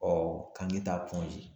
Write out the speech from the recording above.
Ɔ k'an bɛ taa